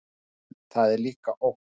En það er líka ógn.